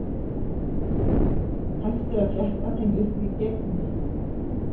Hægt er að fletta þeim upp í Gegni.